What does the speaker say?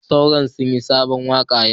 Sauron sunyi sabon waka yau.